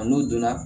A n'u donna